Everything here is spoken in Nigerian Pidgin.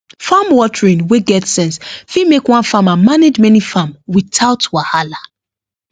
farm watering wey get sense fit make one farmer manage many farm without wahala